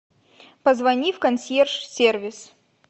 позвони в консьерж сервис